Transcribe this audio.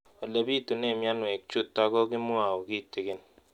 Ole pitune mionwek chutok ko kimwau kitig'�n